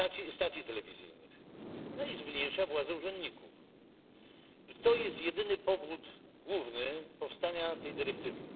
i stacji telewizyjnych, no i zmniejsza władzę urzędników. To jest jedyny główny powód powstania tej dyrektywy.